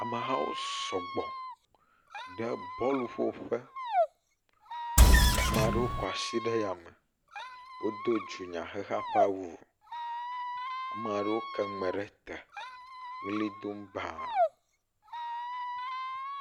Amehawo sɔgbɔ le bɔlu ƒo ƒe, ame aɖewo kɔ asi ɖe yame, ame aɖewo ke nu me ɖe te le ʋli dom baa.